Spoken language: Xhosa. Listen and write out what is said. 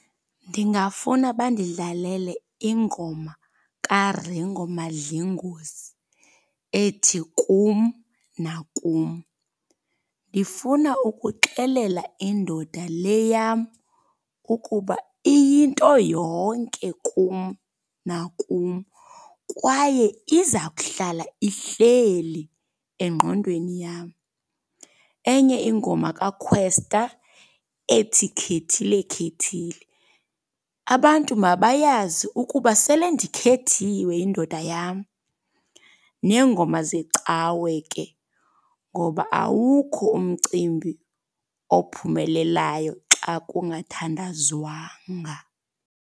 Ndingafuna bandidlalele ingoma kaRingo Madlingozi, ethi kum nakum. Ndifuna ukuxelela indoda le yam ukuba iyinto yonke kum nakum, kwaye iza kuhlala ihleli engqondweni yam. Enye ingoma kaKwesta ethi khethile khethile. Abantu mabayazi ukuba sele ndikhethiwe yindoda yam. Neengoma zecawe ke, ngoba awukho umcimbi ophumelelayo xa kungathandazwanga.